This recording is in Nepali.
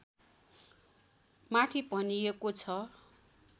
माथि भनिएको छ